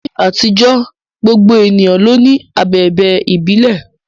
Ní àtijọ́, gbogbo ènìyàn ló ní abẹ̀bẹ̀ ìbílẹ̀.